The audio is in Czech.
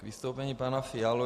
K vystoupení pana Fialy.